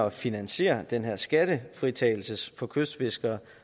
at finansiere den her skattefritagelse for kystfiskere